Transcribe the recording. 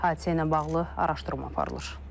Hadisə ilə bağlı araşdırma aparılır.